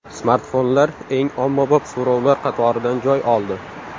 Smartfonlar eng ommabop so‘rovlar qatoridan joy oldi.